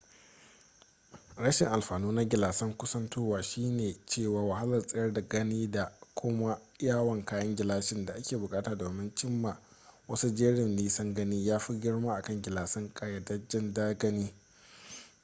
rashin alfanu na gilasan kusantowa shine cewa wahalar tsayar da gani da kuma yawan kayan gilashin da ake bukata domin cim ma wasu jerin nisan gani ya fi girma akan gilasan ƙayyadajjen gani